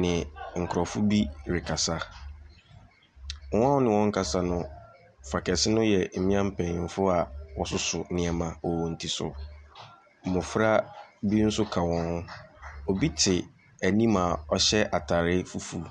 ne Nkurɔfo bi rekasa. Wɔn a ɔne wɔn rekasa no, Fa kɛse no yɛmmea mpanyimfo a wɔsoso nneɛma wɔ wɔn ti so. Mmofra bi nso ka wɔn ho. Obi te anim a ɔhyɛ atarr fufuw.